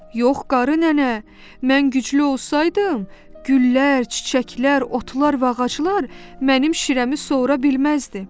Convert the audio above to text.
Yox qarı nənə, mən güclü olsaydım, güllər, çiçəklər, otlar və ağaclar mənim şirəmi sora bilməzdi.